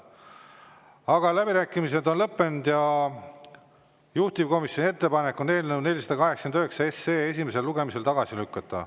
Aga läbirääkimised on lõppenud ja juhtivkomisjoni ettepanek on eelnõu 489 esimesel lugemisel tagasi lükata.